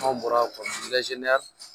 Anw bɔra